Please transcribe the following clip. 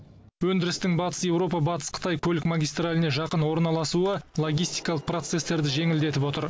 өндірістің батыс еуропа батыс қытай көлік магистраліне жақын орналасуы логистикалық процестерді жеңілдетіп отыр